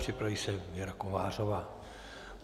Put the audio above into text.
Připraví se Věra Kovářová.